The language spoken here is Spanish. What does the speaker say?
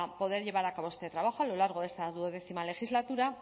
poder llevar a cabo este trabajo a lo largo de esta duodécima legislatura